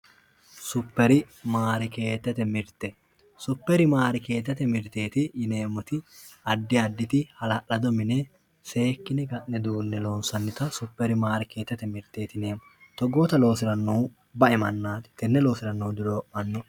superimaarkeetete mirte superimaarkeetete mirte yineemmoti addi additi hala'lado mine seekkine ka'ne duunne loonsannita superimaarkeetete mirteeti yineemmo togoota loosirannohu bae mannaati togoota loosirannohu duree'manno.